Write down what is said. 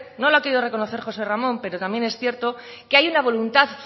no lo ha querido reconocer josé ramón pero también es cierto que hay una voluntad